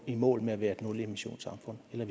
i mål med at være et nulemissionssamfund eller